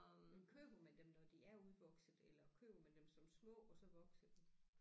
Men køber man dem når de er udvokset eller køber man dem som små og så vokser de